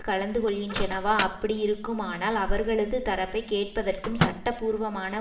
கலந்து கொள்கின்றனவா அப்படியிருக்குமானால் அவர்களது தரப்பை கேட்பதற்கும் சட்டபூர்வமான